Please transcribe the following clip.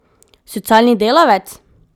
Socialni delavec?